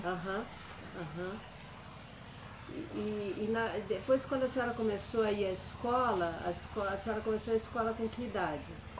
Aham, aham. E, e, e na, eh depois, quando a senhora começou a ir a escola, a escola, a senhora começou a escola com que idade?